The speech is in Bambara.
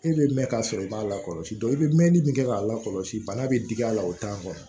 E bɛ mɛn ka sɔrɔ i b'a lakɔlɔsi i bɛ mɛnni min kɛ k'a lakɔlɔsi bana bɛ digi a la o t'a kɔnɔ